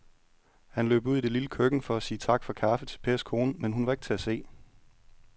Han løb ud i det lille køkken for at sige tak for kaffe til Pers kone, men hun var ikke til at se.